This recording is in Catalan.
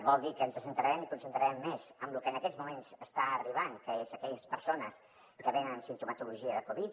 vol dir que ens centrarem i concentrarem més en lo que en aquests moments està arribant que són aquelles persones que venen amb simptomatologia de covid